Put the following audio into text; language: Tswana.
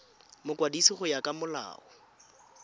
mokwadisi go ya ka molao